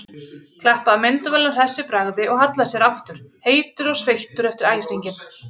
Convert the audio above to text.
Klappaði á myndavélina hress í bragði og hallaði sér aftur, heitur og sveittur eftir æsinginn.